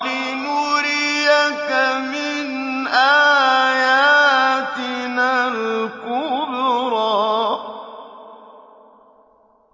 لِنُرِيَكَ مِنْ آيَاتِنَا الْكُبْرَى